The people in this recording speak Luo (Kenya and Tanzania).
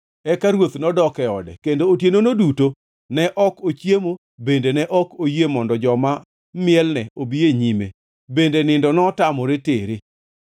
Eka ruoth nodok e ode kendo otienono duto ne ok ochiemo bende ne ok oyie mondo joma mielne obi e nyime bende nindo notamore tere.